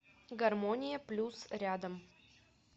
гармония плюс рядом